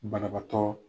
Banabaatɔ